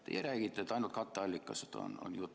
Teie räägite, et jutt on ainult katteallikast.